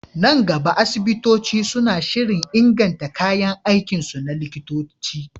Nan gaba, asibitoci suna shirin inganta kayan aikinsu na likitanci.